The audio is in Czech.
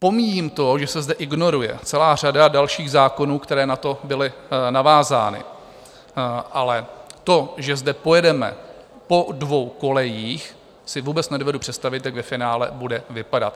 Pomíjím to, že se zde ignoruje celá řada dalších zákonů, které na to byly navázány, ale to, že zde pojedeme po dvou kolejích, si vůbec nedovedu představit, jak ve finále bude vypadat.